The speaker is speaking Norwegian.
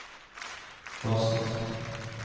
basen